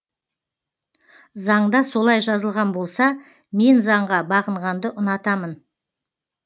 заңда солай жазылған болса мен заңға бағынғанды ұнатамын